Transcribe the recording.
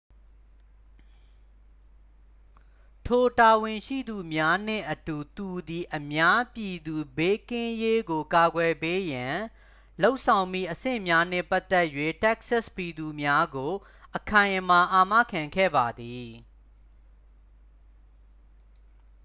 ထိုတာဝန်ရှိသူများနှင့်အတူ သူသည် အများပြည်သူဘေးကင်းရေးကိုကာကွယ်ပေးရန် လုပ်ဆောင်မည့်အဆင့်များနှင့်ပတ်သက်၍ တက္ကဆက်ပြည်သူများကို အခိုင်အမာအာမခံခဲ့ပါသည်